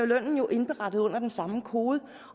lønnen jo indberettet under den samme kode